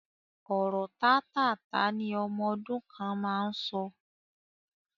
Ọ̀rọ̀ tátáààtá ni ọmọ ọdún kan máa ń sọ